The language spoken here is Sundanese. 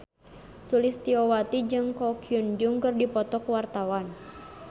Sulistyowati jeung Ko Hyun Jung keur dipoto ku wartawan